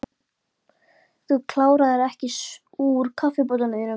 Þú kláraðir ekki úr kaffibollanum þínum.